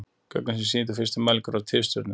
Gögnin sem sýndu fyrstu mælingar á tifstjörnum.